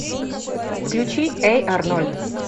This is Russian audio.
включи эй арнольд